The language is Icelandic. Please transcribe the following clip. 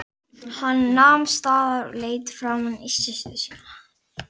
Maríus, einhvern tímann þarf allt að taka enda.